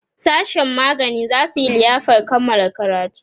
sashen magani zasu Yi liyafar Kamala karatu